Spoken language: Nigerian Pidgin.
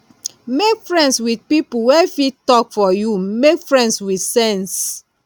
make friends with pipo wey fit talk for you make friends with sense